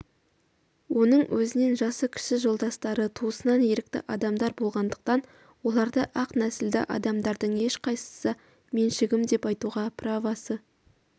оның өзінен жасы кіші жолдастары туысынан ерікті адамдар болғандықтан оларды ақ нәсілді адамдардың ешқайсысы меншігім деп айтуға правосы